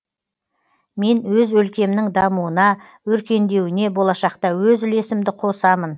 мен өз өлкемнің дамуына өркендеуіне болашақта өз үлесімді қосамын